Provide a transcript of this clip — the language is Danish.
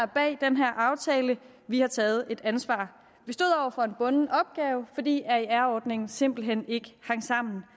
bag den her aftale har taget et ansvar vi stod over for en bunden opgave fordi aer ordningen simpelt hen ikke hang sammen